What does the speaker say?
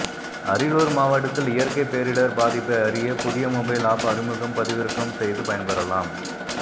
அரியலூர் மாவட்டத்தில் இயற்கை பேரிடர் பாதிப்பை அறிய புதிய மொபைல் ஆப் அறிமுகம் பதிவிறக்கம் செய்து பயன்பெறலாம்